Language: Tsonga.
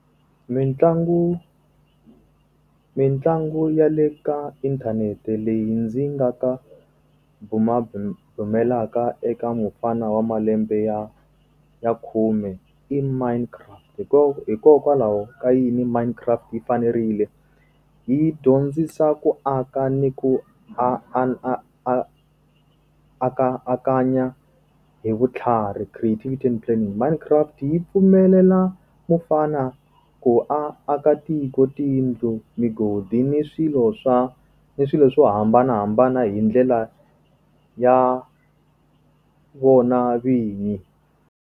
Mintlangu. Mintlangu ya le ka inthanete leyi ndzi nga ka bumabumelaka eka mufana wa malembe ya ya khume i Minecraft. Hikokwalaho ka yini Minecraft yi fanerile? Yi dyondzisa ku aka ni ku a a a a aka hi vutlhari creativity and planning. Minecraft yi pfumelela mufana ku a aka tiko, tiyindlu, migodi ni swilo swa ni swilo swo hambanahambana hi ndlela ya vona vinyi.